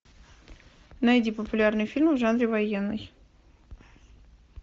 найди популярные фильмы в жанре военный